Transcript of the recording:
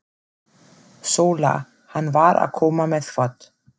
SÓLA: Hann var að koma með þvott.